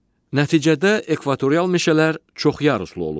Nəticədə ekvatorial meşələr çoxyaruslu olur.